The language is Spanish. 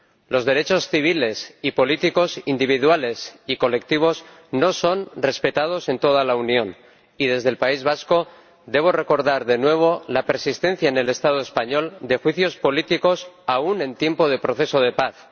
Los derechos civiles y políticos, individuales y colectivos, no son respetados en toda la Unión y, desde el País Vasco, debo recordar de nuevo la persistencia en el Estado español de juicios políticos, aun en tiempo de proceso de paz.